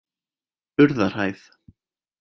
Urðarhæð